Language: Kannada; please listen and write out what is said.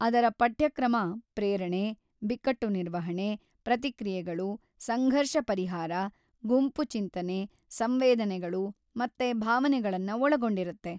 ಅದರ ಪಠ್ಯಕ್ರಮ ಪ್ರೇರಣೆ, ಬಿಕ್ಕಟ್ಟು ನಿರ್ವಹಣೆ, ಪ್ರತಿಕ್ರಿಯೆಗಳು, ಸಂಘರ್ಷ ಪರಿಹಾರ, ಗುಂಪು ಚಿಂತನೆ, ಸಂವೇದನೆಗಳು ಮತ್ತು ಭಾವನೆಗಳನ್ನ ಒಳಗೊಂಡಿರತ್ತೆ.